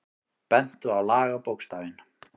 Bentu á lagabókstafinn